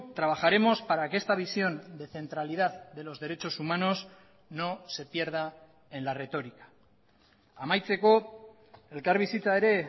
trabajaremos para que esta visión de centralidad de los derechos humanos no se pierda en la retórica amaitzeko elkarbizitza ere